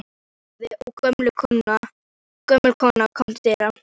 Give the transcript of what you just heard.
Pabbi bankaði og gömul kona kom til dyra.